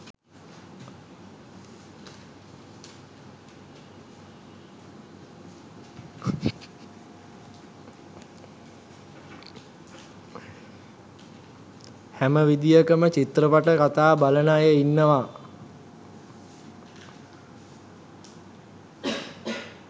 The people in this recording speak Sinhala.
හැම විදියකම චිත්‍රපට කතා බලන අය ඉන්නව